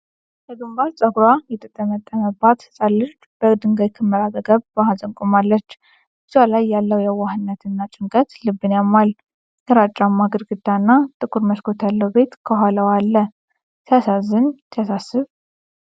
በግንባር ፀጉሯ የተጠመጠመባት ህፃን ልጅ ከድንጋይ ክምር አጠገብ በሐዘን ቆማለች። ፊቷ ላይ ያለው የዋህነት እና ጭንቀት ልብን ያማል። ግራጫማ ግድግዳና ጥቁር መስኮት ያለው ቤት ከኋላዋ አለ። "ሲያሳዝን፣ ሲያሳስብ!"